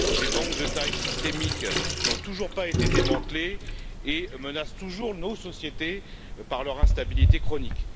Les banques de taille systémique n'ont toujours pas été démantelées et menacent toujours nos sociétés par leur instabilité chronique.